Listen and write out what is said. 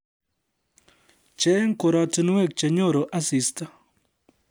Cheng korotinwek chenyoru asista